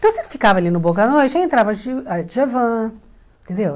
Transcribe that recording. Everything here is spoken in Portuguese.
Então, você ficava ali no Boca da Noite, aí entrava a dja a Djavan, entendeu?